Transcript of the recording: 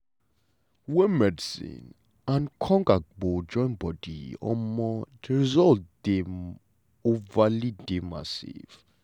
wen medicine and um agbo join body um de result dey um dey massive.